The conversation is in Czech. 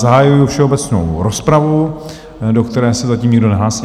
Zahajuji všeobecnou rozpravu, do které se zatím nikdo nehlásí...